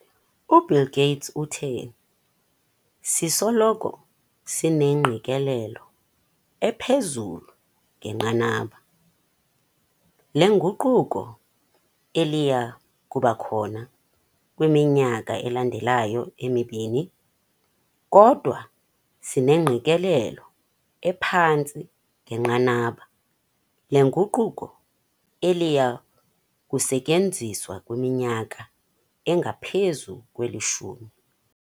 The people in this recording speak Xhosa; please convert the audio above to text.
UBill Gates uthe sisoloko sinengqikelelo ephezulu ngenqanaba lenguquko eliya kubakho kwiminyaka elandelayo emibini - kodwa sinengqikelelo ephantsi ngenqanaba lenguquko eliya kusetyenziswa kwiminyaka engaphezu kwelishumi.